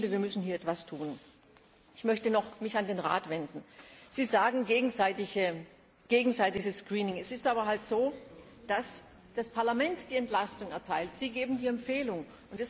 Ich finde, wir müssen hier etwas tun. Ich möchte mich noch an den Rat wenden Sie sprechen von gegenseitigem Screening. Es ist aber halt so, dass das Parlament die Entlastung erteilt, Sie geben die Empfehlung